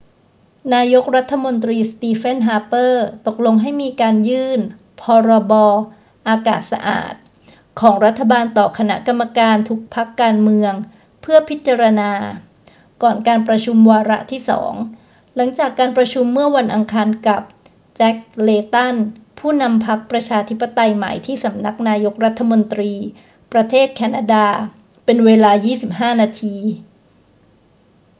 นายกรัฐมนตรีสตีเฟน ฮาร์เปอร์ ตกลงให้มีการยื่น 'พรบ.อากาศสะอาด' ของรัฐบาลต่อคณะกรรมการทุกพรรคการเมืองเพื่อพิจารณา ก่อนการประชุมวาระที่สอง หลังจากการประชุมเมื่อวันอังคารกับ แจ็ค เลย์ตัน ผู้นำพรรคประชาธิปไตยใหม่ที่สำนักนายกรัฐมนตรี ประเทศแคนาดา เป็นเวลา 25 นาที